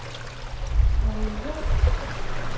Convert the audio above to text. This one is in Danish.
Maria Würtz